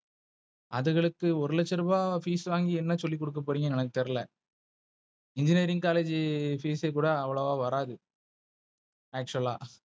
அதுங்களுக்கு ஒரு லட்ச ரூபாய் Fees வாங்கி என்ன சொல்லி குடுக்க போறீங்க எனக்கு தெரியல. Engineering College Fees கூட அவ்ளோவா வராது Actual அ